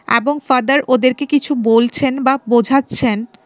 এ্যাবং father ওদেরকে কিছু বলছেন বা বোঝাচ্ছেন।